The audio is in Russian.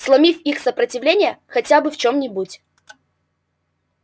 сломив их сопротивление хотя бы в чём-нибудь